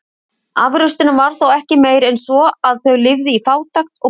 Afraksturinn var þó ekki meiri en svo, að þau lifðu í fátækt og basli.